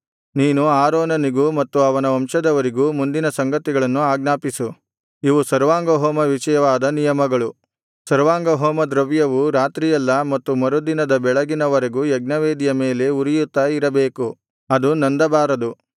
ನೀನು ಆರೋನನಿಗೂ ಮತ್ತು ಅವನ ವಂಶದವರಿಗೂ ಮುಂದಿನ ಸಂಗತಿಗಳನ್ನು ಆಜ್ಞಾಪಿಸು ಇವು ಸರ್ವಾಂಗಹೋಮ ವಿಷಯವಾದ ನಿಯಮಗಳು ಸರ್ವಾಂಗಹೋಮದ್ರವ್ಯವು ರಾತ್ರಿಯೆಲ್ಲಾ ಮತ್ತು ಮರುದಿನದ ಬೆಳಗಿನ ವರೆಗೂ ಯಜ್ಞವೇದಿಯ ಮೇಲೆ ಉರಿಯುತ್ತಾ ಇರಬೇಕು ಅದು ನಂದಬಾರದು